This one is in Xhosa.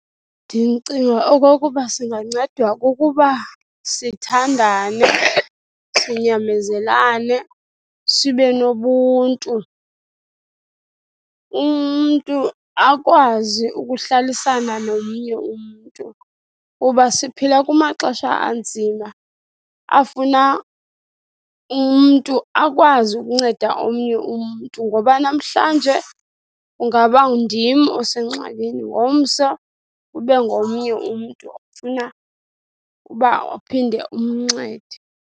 Ndicinga okokuba singancedwa kukuba siyathandane, sinyamezelane, sibe nobuntu. Umntu akwazi ukuhlalisana nomnye umntu kuba siphila kumaxesha anzima afuna umntu akwazi ukunceda omnye umntu ngoba namhlanje kungaba ndim osengxakini, ngomso kube ngomnye umntu ofuna uba uphinde umncede.